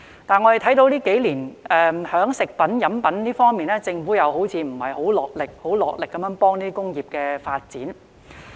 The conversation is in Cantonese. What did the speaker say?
不過，我們看到這幾年，對於食品、飲品製造，政府好像沒有落力幫助有關工業的發展。